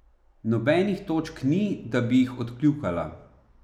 Nobenih točk ni, da bi jih odkljukala.